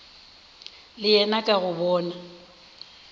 le yena ka go bona